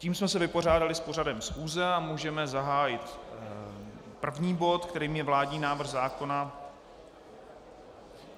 Tím jsme se vypořádali s pořadem schůze a můžeme zahájit první bod, kterým je vládní návrh zákona...